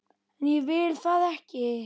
En ég vil það ekki.